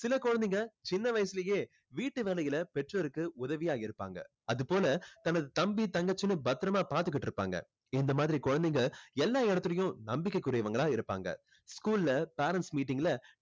சில குழந்தைங்க சின்ன வயசுலேயே வீட்டு வேலையில பெற்றோருக்கு உதவியா இருப்பாங்க. அதுபோல தனது தம்பி தங்கச்சின்னு பத்திரமா பாத்துக்கிட்டு இருப்பாங்க. இந்த மாதிரி குழந்தைங்க எல்லா இடத்திலும் நம்பிக்கைக்குறியவங்களா இருப்பாங்க school ல parents meeting ல